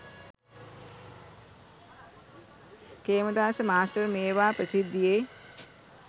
Khemadasa master මේවා ප්‍රසිද්ධියේ